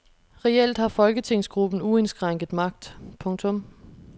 Reelt har folketingsgruppen uindskrænket magt. punktum